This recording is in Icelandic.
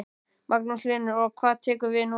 Magnús Hlynur: Og hvað tekur við núna?